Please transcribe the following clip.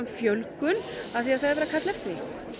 fjölgun af því það er verið að kalla eftir því